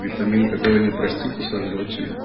витамин такого не простит и сожрёт тебя